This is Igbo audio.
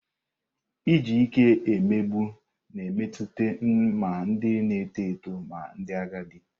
Iji ike emegbu na metụta ma ndị na-eto eto ma ndị agadi.